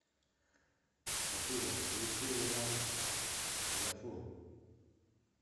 афина включи луна гафур